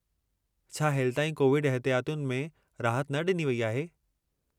छा हेलिताईं कोविड एहितियातुनि में राहत न ॾिनी वेई आहे?